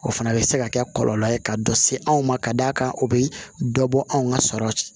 O fana bɛ se ka kɛ kɔlɔlɔ ye ka dɔ se anw ma ka d'a kan o bɛ dɔ bɔ anw ka sɔrɔ